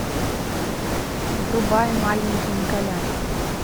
врубай маленький николя